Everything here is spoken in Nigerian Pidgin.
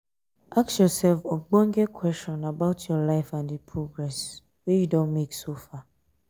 ask yourself ogbonge question about your life and di progress um wey you don make so far